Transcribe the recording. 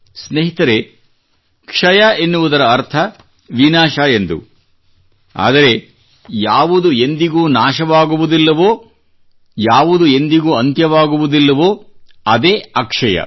ಸ್ನೇಹಿತರೆ ಕ್ಷಯ ಎನ್ನುವುದರ ಅರ್ಥ ವಿನಾಶ ಎಂದು ಆದರೆ ಯಾವುದು ಎಂದಿಗೂ ನಾಶವಾಗುವುದಿಲ್ಲವೋ ಯಾವುದು ಎಂದಿಗೂ ಅಂತ್ಯವಾಗುವುದಿಲ್ಲವೋ ಅದೇ ಅಕ್ಷಯ